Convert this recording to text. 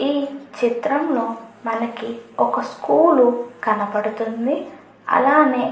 ఈ చిత్తం లో మనకి ఒక స్కూల్ లు కనపడుతుంది. అలాగే --